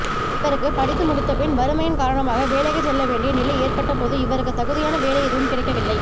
இவருக்கு படித்து முடித்தபின் வறுமையின் காரணமாக வேலைக்குச் செல்ல வேண்டிய நிலை ஏற்பட்டபோது இவருக்கு தகுதியான வேலை எதுவும் கிடைக்கவில்லை